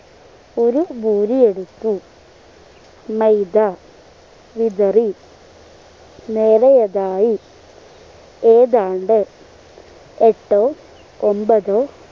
ഒരു പൂരിയെടുത്തു മൈദ വിതറി മേലെയെതായി ഏതാണ്ട് എട്ടു ഒമ്പത്